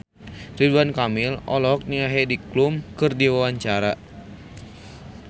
Ridwan Kamil olohok ningali Heidi Klum keur diwawancara